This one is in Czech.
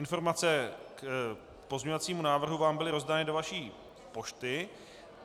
Informace k pozměňovacímu návrhu vám byly rozdány do vaší pošty.